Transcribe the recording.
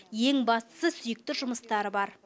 ең бастысы сүйікті жұмыстары бар